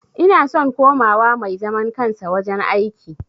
Ina son kowa ma mai zaman kansa wajen aiki